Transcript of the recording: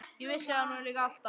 Ég vissi það nú líka alltaf!